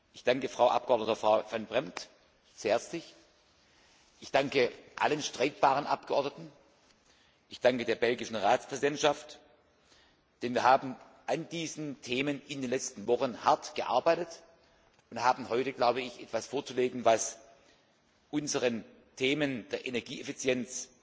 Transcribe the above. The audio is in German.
Ich danke der Frau Abgeordneten Van Brempt sehr herzlich, ich danke allen streitbaren Abgeordneten, ich danke der belgischen Ratspräsidentschaft, denn wir haben an diesen Themen in den letzten Wochen hart gearbeitet und haben heute etwas vorzulegen, was unseren Themen der Energieeffizienz